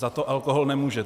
Za to alkohol nemůže.